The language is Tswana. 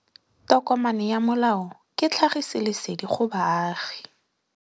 Tokomane ya molao ke tlhagisi lesedi go baagi.